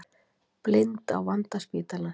Blind á vanda spítalans